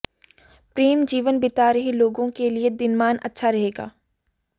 प्रेम जीवन बिता रहे लोगों के लिए दिनमान अच्छा रहेगा